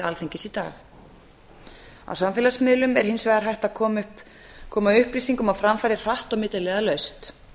alþingis í dag á samfélagsmiðlum er hins vegar hægt að koma upplýsingum á framfæri hratt og milliliðalaust